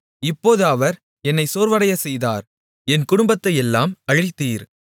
இப்போது அவர் என்னை சோர்வடையச் செய்தார் என் குடும்பத்தையெல்லாம் அழித்தீர்